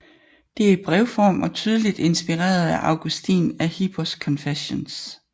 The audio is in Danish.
Det er i brevform og tydeligt inspireret af Augustin af Hippos Confessiones